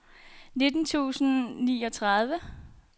nitten tusind og niogtredive